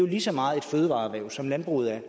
lige så meget et fødevareerhverv som landbruget er